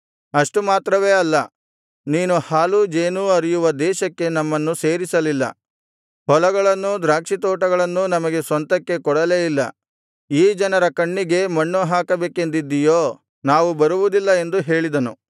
ಅಷ್ಟು ಮಾತ್ರವೇ ಅಲ್ಲ ನೀನು ಹಾಲೂ ಜೇನೂ ಹರಿಯುವ ದೇಶಕ್ಕೆ ನಮ್ಮನ್ನು ಸೇರಿಸಲಿಲ್ಲ ಹೊಲಗಳನ್ನೂ ದ್ರಾಕ್ಷಿತೋಟಗಳನ್ನೂ ನಮಗೆ ಸ್ವಂತಕ್ಕೆ ಕೊಡಲೇ ಇಲ್ಲ ಈ ಜನರ ಕಣ್ಣಿಗೆ ಮಣ್ಣು ಹಾಕಬೇಕೆಂದಿದ್ದೀಯೋ ನಾವು ಬರುವುದಿಲ್ಲ ಎಂದು ಹೇಳಿದನು